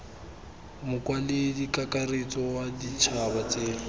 mokwaledi kakaretso wa ditšhaba tse